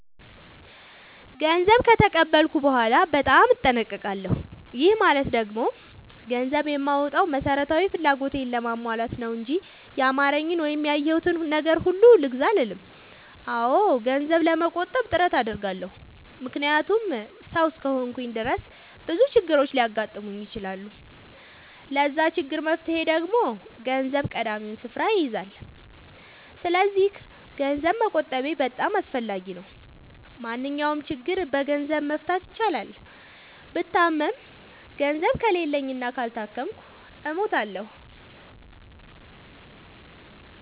ገንዘብ ከተቀበልኩ በኋላ በጣም እጠነቀቃለሁ። ይህ ማለት ደግሞ ገንዘብ የማወጣው መሠረታዊ ፍላጎቴን ለማሟላት ነው እንጂ ያማረኝን ወይም ያየሁትን ነገር ሁሉ ልግዛ አልልም። አዎ ገንዘብ ለመቆጠብ ጥረት አደርጋለሁ። ምክንያቱም ሠው እስከሆንኩኝ ድረስ ብዙ ችግሮች ሊያጋጥሙኝ ይችላሉ። ለዛ ችግር መፍትሄ ደግሞ ገንዘብ ቀዳሚውን ስፍራ ይይዛል። ሰስለዚክ ገንዘብ መቆጠቤ በጣም አስፈላጊ ነው። ማንኛውንም ችግር በገንዘብ መፍታት ይቻላል። ብታመም ገንዘብ ከሌለኝ እና ካልታከምኩ እሞታሁ።